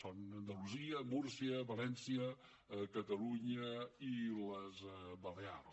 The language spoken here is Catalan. són andalusia múrcia valència catalunya i les balears